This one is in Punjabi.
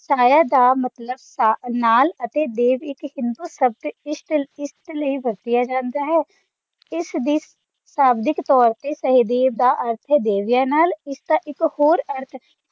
ਸਾਇਆ ਦਾ ਮਤਲਬ ਨਾਲ ਅਤੇ ਦੇਵ ਇੱਕ ਹਿੰਦੂ ਸ਼ਬਦ ਇਸਲਈ ਵਰਤਿਆ ਜਾਂਦਾ ਹੈ ਇਸਦੀ ਸ਼ਾਬਦਿਕ ਤੌਰ ਤੇ ਸਹਿਦੇਵ ਦਾ ਅਰਥ ਹੈ ਦੇਵੀਆਂ ਨਾਲ ਅਰਥ